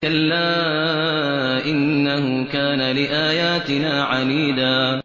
كَلَّا ۖ إِنَّهُ كَانَ لِآيَاتِنَا عَنِيدًا